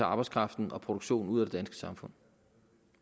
arbejdskraften og produktionen ud af det danske samfund